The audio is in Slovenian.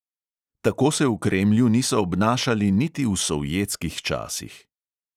Tako se v kremlju niso obnašali niti v sovjetskih časih.